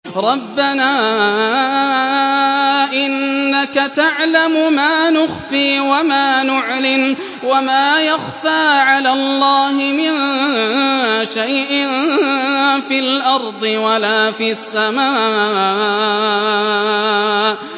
رَبَّنَا إِنَّكَ تَعْلَمُ مَا نُخْفِي وَمَا نُعْلِنُ ۗ وَمَا يَخْفَىٰ عَلَى اللَّهِ مِن شَيْءٍ فِي الْأَرْضِ وَلَا فِي السَّمَاءِ